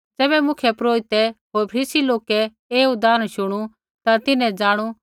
ज़ैबै मुख्यपुरोहिते होर फरीसी लोकै ऐ उदाहरण शुणु ता तिन्हैं ज़ाणू कि आसरै बारै न बोलदा लागा सा